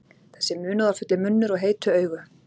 Þessi munúðarfulli munnur og heitu augu.